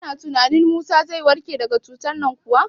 Kana tunanin Musa zai warke daka cutar nan kuwa?